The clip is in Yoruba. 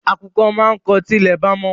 Àkùkọ á máa kọ tí ilẹ̀ bá mọ́